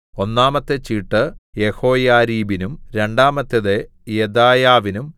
ഒന്നാമത്തെ ചീട്ട് യെഹോയാരീബിനും രണ്ടാമത്തേത് യെദായാവിനും